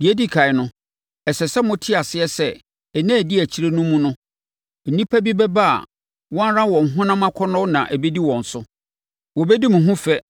Deɛ ɛdi ɛkan no, ɛsɛ sɛ mote aseɛ sɛ nna a ɛdi akyire no mu no, nnipa bi bɛba a wɔn ara wɔn honam akɔnnɔ na ɛbɛdi wɔn so. Wɔbɛdi mo ho fɛ